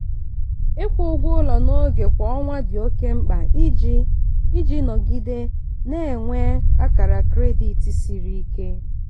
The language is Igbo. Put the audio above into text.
ịkwụ ụgwọ ụlọ n'oge kwa ọnwa dị oke mkpa iji iji nọgide na-enwe akara kredit siri ike.